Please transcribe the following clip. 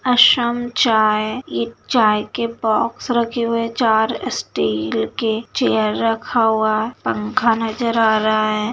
असम शाम चाय ये चाय के बॉक्स रखे हुए है चार स्टील के चेयर रखा हुआ पंखा नजर आ रहा है।